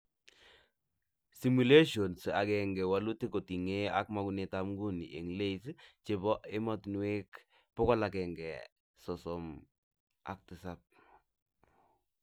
Simulation 1 walutik kotingee ak mogunetab nguni eng LAYS chebo ematinwek 157